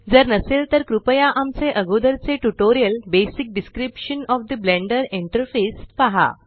जर नसेल तर कृपया आमचे अगोदर चे tutorial basic description of the Blender interface पहा